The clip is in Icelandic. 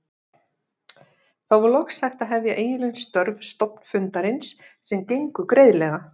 Þá var loks hægt að hefja eiginleg störf stofnfundarins sem gengu greiðlega.